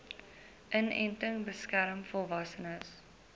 inenting beskerm volwassenes